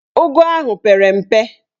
Ụgụ ahụ pere mpe